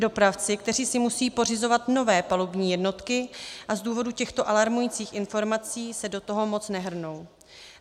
Dopravci, kteří si musejí pořizovat nové palubní jednotky a z důvodu těchto alarmujících informací se do toho moc nehrnou.